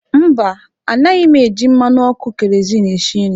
Mba, anaghị m eji mmanụ ọkụ keroziinu esi nri.